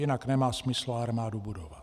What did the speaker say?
Jinak nemá smysl armádu budovat.